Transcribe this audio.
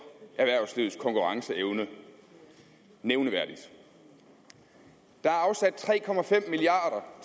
erhvervslivets konkurrenceevne nævneværdigt der er afsat tre milliard